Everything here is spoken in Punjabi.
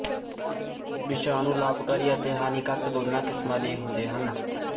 ਵਿਸ਼ਾਣੂ ਲਾਭਕਾਰੀ ਅਤੇ ਹਾਨੀਕਾਰਕ ਦੋਨਾਂ ਕਿਸਮਾਂ ਦੇ ਹੁੰਦੇ ਹਨ